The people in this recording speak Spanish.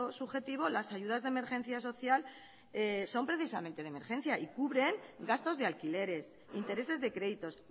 subjetivo las ayudas de emergencia social son precisamente de emergencia y cubren gastos de alquileres intereses de créditos